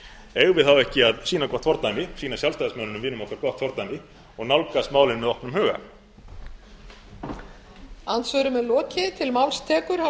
eigum við þá ekki að sýna gott fordæmi sýna sjálfstæðismönnum vinum okkar gott fordæmi og nálgast málin með opnum huga